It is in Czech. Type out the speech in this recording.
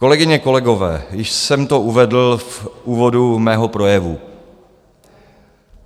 Kolegyně, kolegové, již jsem to uvedl v úvodu svého projevu.